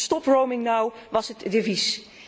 Stop roaming now was het devies.